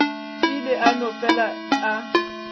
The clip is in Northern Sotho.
ile a no fele a